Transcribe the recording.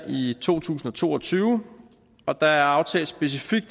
i to tusind og to og tyve og der er aftalt specifikt